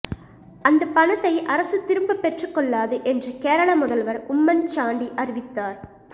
அந்த பணத்தை அரசு திரும்ப பெற்று கொள்ளாது என்று கேரள முதல்வர் உம்மன் சாண்டி அறிவித்தார்